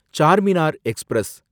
Charminar express